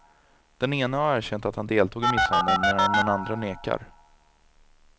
Den ene har erkänt att han deltog i misshandeln, medan den andre nekar.